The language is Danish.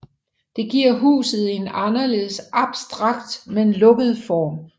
Det giver huset en anderledes abstrakt men samtidig lukket form